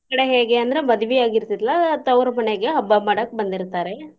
ನಮ್ಮ್ ಕಡೆ ಹೇಗೆ ಅಂದ್ರ ಮದವಿ ಆಗಿರ್ತೆತ್ಲಾ ತವ್ರ್ ಮನೆಗೆ ಹಬ್ಬಾ ಮಾಡಾಕ್ ಬಂದಿರ್ತಾರೆ.